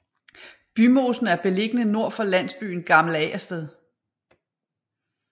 Bymosen er beliggende nord for landsbyen Gammel Agersted